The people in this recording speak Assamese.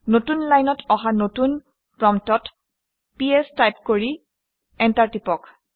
নতুন লাইনত অহা নতুন প্ৰম্পটত পিএছ টাইপ কৰি এণ্টাৰ টিপক